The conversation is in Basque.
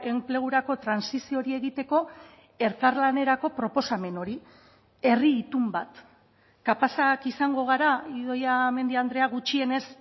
enplegurako trantsizio hori egiteko elkarlanerako proposamen hori herri itun bat kapazak izango gara idoia mendia andrea gutxienez